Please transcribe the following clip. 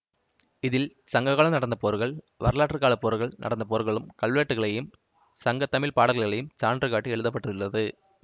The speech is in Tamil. இதில் சங்ககாலம் நடந்த போர்கள் வரலாற்று காலப்போர்கள் நடந்த போர்களும் கல்வெட்டுகளையும் சங்கத்தமிழ் பாடல்களையும் சான்று காட்டி எழுத பட்டுள்ளது